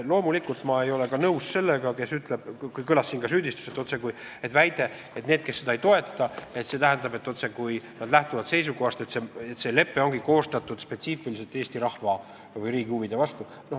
Loomulikult ei ole ma nõus ka selle süüdistuse või väitega, et need, kes seda lepet ei toeta, otsekui lähtuksid seisukohast, et see lepe ongi koostatud spetsiifiliselt Eesti rahva või riigi huvide vastu.